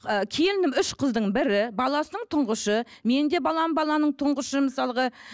ы келінім үш қыздың бірі баласының тұңғышы менің де балам баланың тұңғышы мысалға